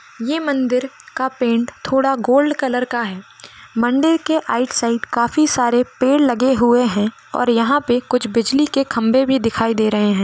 ये मंदिर का पेंट थोड़ा गोल्ड कलर का है मंदिर के काफी सारे पेड़ लगे हुए हैं और यहाँ पे कुछ बिजली के खंबे भी दिखाई दे रहे हैं।